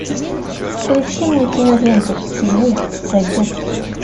включи мне киноленту чужой завет